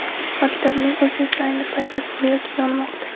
Maktabning o‘zi esa ayni paytda, go‘yoki, yonmoqda.